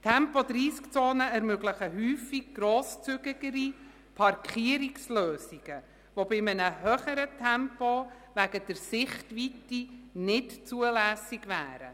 Tempo-30-Zonen ermöglichen häufig grosszügigere Parkierungslösungen, die bei einem höheren Tempo wegen der Sichtweite nicht zulässig wären.